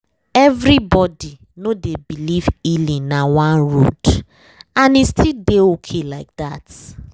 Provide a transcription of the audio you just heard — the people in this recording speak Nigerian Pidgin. everybody no dey believe healing na one road — and e still dey okay like that